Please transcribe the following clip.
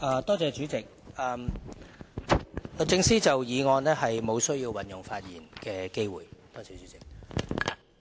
代理主席，律政司沒有需要就議案運用發言的機會。